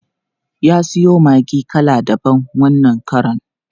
Ya siyo maggi kala daban wannan karon.